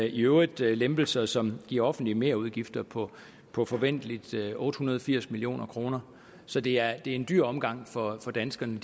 i øvrigt lempelser som giver offentlige merudgifter på på forventeligt otte hundrede og firs million kroner så det er en dyr omgang for danskerne